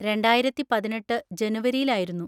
രണ്ടായിരത്തി പതിനെട്ട് ജനുവരിയിൽ ആയിരുന്നു.